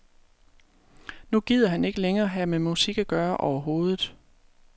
Nu gider han ikke længere have med musik at gøre overhovedet.